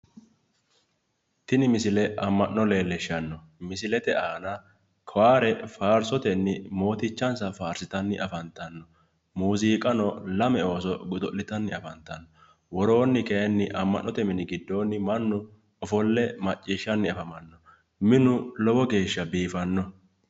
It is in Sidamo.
Tini misile amma'no leellishshanno. Misilete aana kowaare faarsotenni mootichansa faarsitanni afantanno. muuziiqano, lame ooso godo'tanni afantanno. woroonni kayinni mannu ofolle macciishshanni afamanno minu lowo geeshsha biifanno.